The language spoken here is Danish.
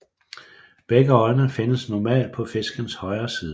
Begge øjne findes normalt på fiskens højre side